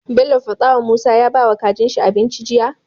Bello faɗa wa musa ya bawa kajin shi abinci jiya